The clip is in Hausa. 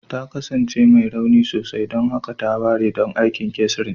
Ta kasance mai rauni sosai, don haka ta ware don aikin cesarean